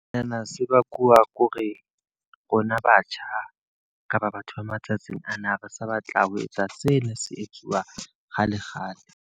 Sena se bakuwa ke hore, rona batjha kapa batho ba matsatsing ana ha re sa batla ho etsa se ne se etsuwa kgale kgale.